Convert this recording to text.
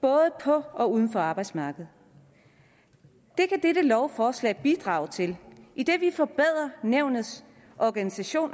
både på og uden for arbejdsmarkedet det kan dette lovforslag bidrage til idet vi forbedrer nævnets organisation